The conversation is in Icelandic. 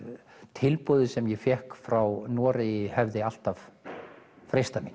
tilboðið sem ég fékk frá Noregi hefði alltaf freistað mín